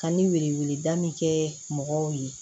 Ka ni wele wele da min kɛ mɔgɔw ye